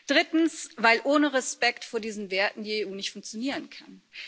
Drittens weil ohne Respekt vor diesen Werten die EU nicht funktionieren kann.